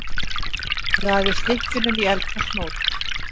Raðið stykkjunum í eldfast mót.